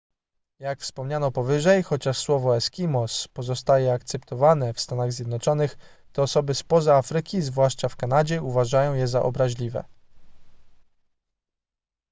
jak wspomniano powyżej chociaż słowo eskimos pozostaje akceptowane w stanach zjednoczonych to osoby spoza arktyki zwłaszcza w kanadzie uważają je za obraźliwe